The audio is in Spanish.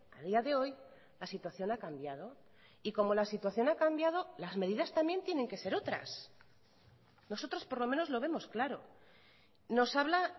a día de hoy la situación ha cambiado y como la situación ha cambiado las medidas también tienen que ser otras nosotros por lo menos lo vemos claro nos habla